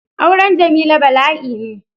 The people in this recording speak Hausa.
Auren Jamila bala'i ne.